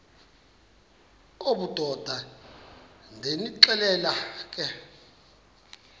obudoda ndonixelela ke